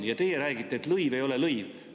Ja teie räägite, et lõiv ei ole lõiv.